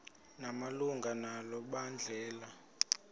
malunga nalo mbandela